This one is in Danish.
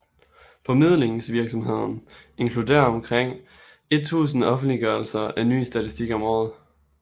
Formidlingsvirksomheden inkluderer omkring 1000 offentliggørelser af ny statistik om året